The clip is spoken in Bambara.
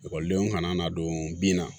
Ekɔlidenw kana n'a don bin na